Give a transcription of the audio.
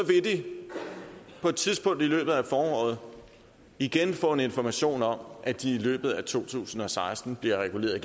vil de på et tidspunkt i løbet af foråret igen få information om at de i løbet af to tusind og seksten bliver reguleret